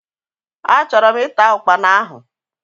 Achorom ita Ụkpana ahu.